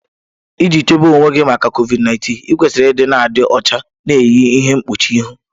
Iji chebe onwe gị maka COVID 19, ịkwesịrị ịdị na-adị ọcha, na-eyi ihe mkpuchi ihu.